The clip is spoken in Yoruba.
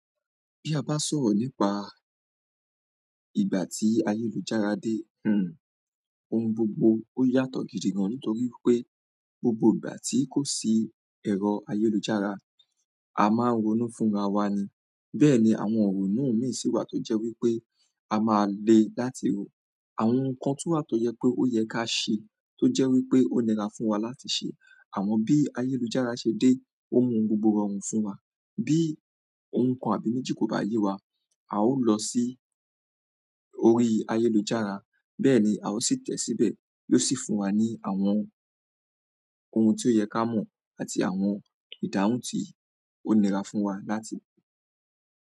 Bí a bá sọ̀rọ̀ nípa ìgbà tí ayélujára dé ohun gbogbo ó yàtọ̀ gidi gan-an nítorí pé gbogbo ìgbà tí kò sí ẹ̀rọ ayélujára, a máa ń ronú fúnra wa ni. Bẹ́ẹ̀ ni àwọn ìrònú míì sì wa tó jẹ́ wípé a máa le láti rò. Àwọn ohun kan tún wà tó yẹ pé ó yẹ ká ṣe tó jẹ́ wí pé ó nira fún wa láti ṣe. Àmọ́ bí ayélujára ṣe dé, ó mú ohun gbogbo rọrùn fún wa. Bí ohun kan àbí méjì kò bá yé wa, a ó lọ sí orí ayélujára. Bẹ́ẹ̀ ni a ó sì tẹ̀ẹ́ síbẹ̀ yóò sì fún wa ní àwọn ohun tí ó yẹ ká mọ̀ àti àwọn ìdáhùn tí ó nira fún wa láti rí.